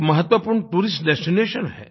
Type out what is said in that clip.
एक महत्वपूर्ण tourist destination है